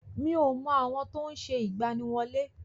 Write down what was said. Mi ò mọ àwọn tó ń ṣe ìgbaniwọlé.